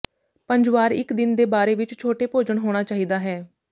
ਪੰਜ ਵਾਰ ਇੱਕ ਦਿਨ ਦੇ ਬਾਰੇ ਵਿੱਚ ਛੋਟੇ ਭੋਜਨ ਹੋਣਾ ਚਾਹੀਦਾ ਹੈ